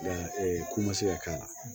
ko ma se ka k'a la